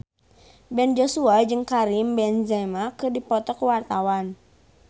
Ben Joshua jeung Karim Benzema keur dipoto ku wartawan